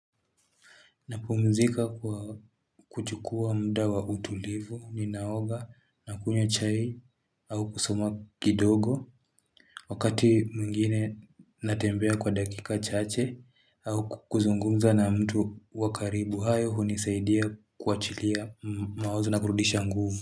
Napumzika kwa kuchukua mda wa utulivu, ninaoga, nakunywa chai, au kusoma kidogo. Wakati mwingine natembea kwa dakika chache, au kuzungumza na mtu wa karibu. Hayo hunisaidia kuachilia maozo na kurudisha nguvu.